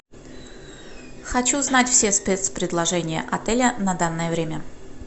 хочу знать все спецпредложения отеля на данное время